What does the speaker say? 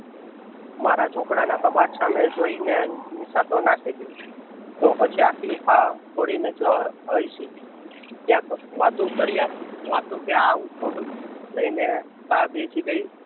મારા ચોપડા ના કબાટ સામે જોઈ ને નીશાસો નાખે છે. તો પછી હઇશી. વાતું કર્યા કે આવું થોડુંક લઈને કા બેસી ગય